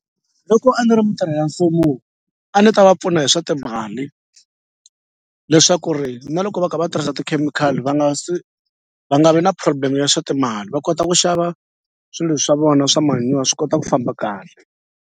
Loko a ni ri mitirhi ya mfumo a ni ta va pfuna hi swa timali leswaku ri na loko va ka va tirhisa tikhemikhali va nga va nga vi na problem ya swa timali va kota ku xava swilo swa vona swa manure swi kota ku famba kahle.